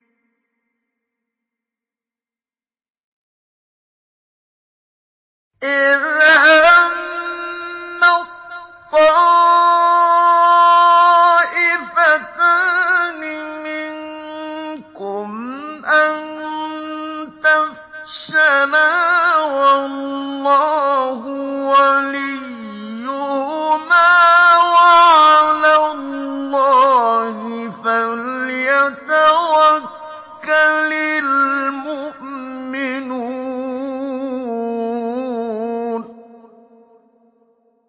إِذْ هَمَّت طَّائِفَتَانِ مِنكُمْ أَن تَفْشَلَا وَاللَّهُ وَلِيُّهُمَا ۗ وَعَلَى اللَّهِ فَلْيَتَوَكَّلِ الْمُؤْمِنُونَ